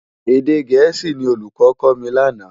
Édé gèési ni ólúkò kò mi làná